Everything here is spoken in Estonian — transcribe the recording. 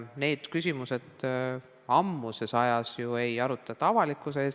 Neid küsimusi ei arutata enam ammusest ajast avalikkuse ees.